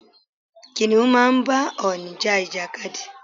Kìnnìún máa ń bá ọ̀ọ̀nì ja ìjàkadì.